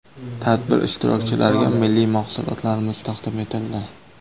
Tadbir ishtirokchilariga milliy mahsulotlarimiz tadim etildi.